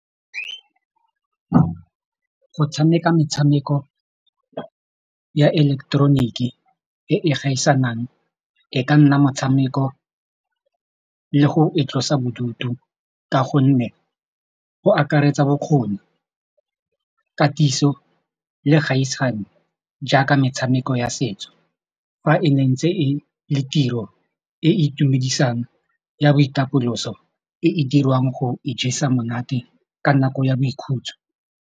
Go tshameka metshameko ya ileketeroniki e e gaisanang e ka nna motshameko le go itlosa bodutu ka gonne go akaretsa bokgoni katiso le kgaisano jaaka metshameko ya setso fa ene e ntse e le tiro e e itumedisang ya boitapoloso e e dirwang go ijesa monate ka nako ya boikhutso.